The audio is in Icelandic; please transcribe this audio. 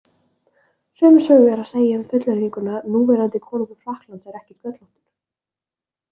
Sömu sögu er að segja um fullyrðinguna „Núverandi konungur Frakklands er ekki sköllóttur“.